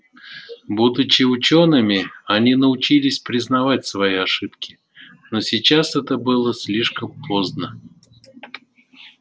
будучи учёными они научились признавать свои ошибки но сейчас это было слишком поздно